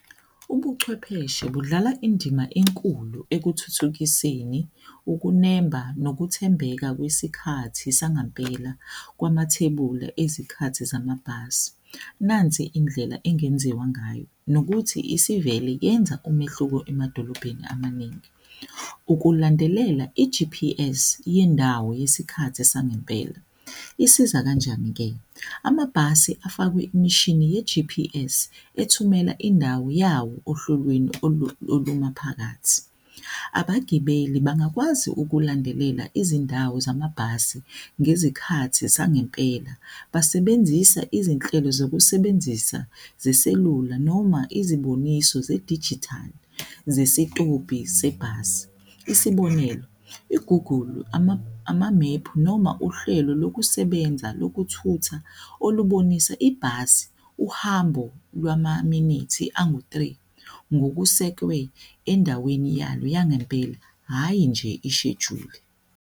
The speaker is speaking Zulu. Ubuchwepheshe budlala indima enkulu ekuthuthukiseni ukunemba nokuthembeka kwesikhathi sangempela kwamathebula ezikhathi zamabhasi, nansi indlela engenziwa ngayo nokuthi isivele yenza umehluko emadolobheni amaningi. Ukulandelela i-G_P_S yendawo yesikhathi sangempela. Isiza kanjani ke? Amabhasi afakwe imishini ye-G_P_S ethumela indawo yawo ohlelweni olumaphakathi. Abagibeli bangakwazi ukulandelela izindawo zamabhasi ngezikhathi zangempela. Basebenzisa izinhlelo zokusebenzisa zeselula noma iziboniso zedijithali zesitobhi sebhasi, isibonelo, igugulu amamephu noma uhlelo lokusebenza lokuthutha olubonisa ibhasi uhambo lwamaminithi angu-three, ngokusekwe endaweni yalo yangempela, hhayi nje ishejuli.